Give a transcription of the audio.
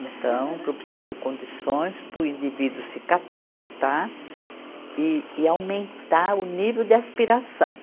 Então, propiciando condições para o indivíduo se capacitar e, e aumentar o nível de aspiração.